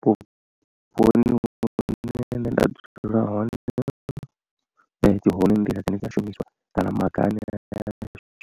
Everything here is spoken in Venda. Vhuponi hune nṋe dzula hone dzi hone nḓila dzine dza shumiswa kana maga ane a